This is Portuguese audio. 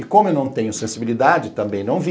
E como eu não tenho sensibilidade, também não vi.